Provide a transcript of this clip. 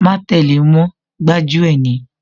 Má tẹ́le mọ́, gbájú ẹ̀ ni